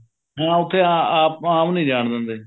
ਹਾਂ ਉੱਥੇ ਅਮ ਆਮ ਨੀ ਜਾਣ ਦਿੰਦੇ